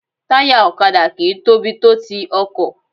Táyà ọ̀kadà kì í tóbi tó ti ọkọ̀